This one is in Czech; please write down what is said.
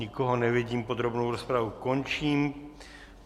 Nikoho nevidím, podrobnou rozpravu končím.